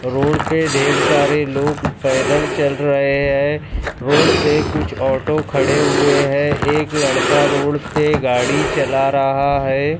Road पे ढेर सारे लोग पैदल चल रहे हैं रोड पे कुछ ऑटो खड़े हुए हैं एक लड़का रोड पे गाड़ी चला रहा है।